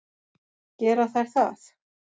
Gera þær það?